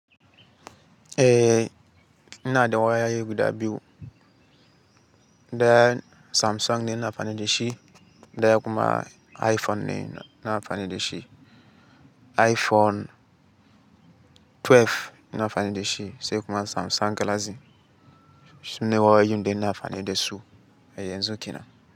Eh, ina da wayoyi guda biyu. Daya Samsung ne ina amfani da shi, daya kuma Iphone ne ina amfani da shi. Iphone 12 ina amfani da shi sai kuma Samsung galaxy, su ne wayoyin da ina amfani da su a yanzu kenan.